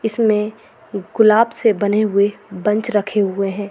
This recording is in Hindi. इसमें गुलाब से बने हुए बंच रखे हुए हैं।